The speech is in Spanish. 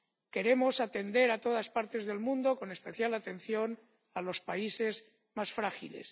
Queremos atender a todas partes del mundo, con especial atención a los países más frágiles.